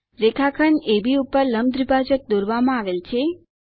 રેખાખંડ અબ ઉપર લંબ દ્વિભાજક દોરવામાં આવેલ છે